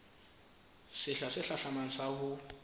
sehla se hlahlamang sa ho